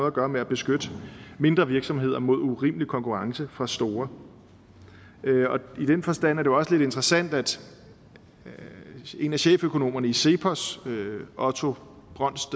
at gøre med at beskytte mindre virksomheder mod urimelig konkurrence fra store i den forstand er det jo også lidt interessant at en af cheføkonomerne i cepos otto brøns